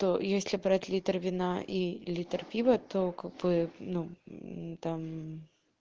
то если брать литр вина и литр пива то как бы ну там